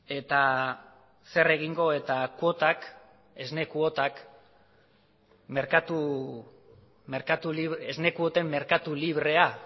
eta zer egingo eta esne kuoten merkatu librea